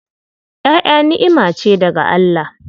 Ƴaƴa ni'ima ce daga Allah.